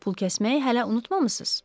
Pulkəsməyi hələ unutmamısınız?